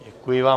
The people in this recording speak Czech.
Děkuji vám.